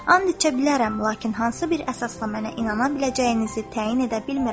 And içə bilərəm, lakin hansı bir əsasla mənə inana biləcəyinizi təyin edə bilmirəm.